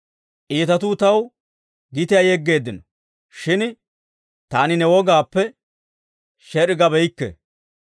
Iitatuu taw gitiyaa yeggeeddino; shin taani ne wogaappe sher"i gabeykke.